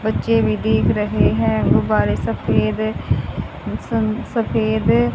बच्चे भी दिख रहे हैं गुब्बारे सफेद सं सफेद--